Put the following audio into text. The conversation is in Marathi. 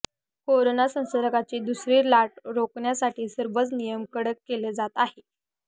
कोरोना संसर्गाची दुसरी लाट रोखण्यासाठी सर्वच नियम कडक केले जात आहे